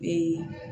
Ee